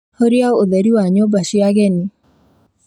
Hũria ũtheri wa nyũmba cia ageni